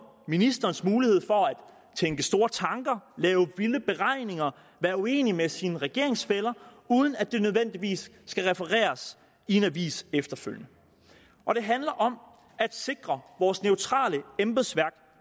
ministerens mulighed for at tænke store tanker lave vilde beregninger være uenig med sine regeringsfæller uden at det nødvendigvis skal refereres i en avis efterfølgende og det handler om at sikre vores neutrale embedsværk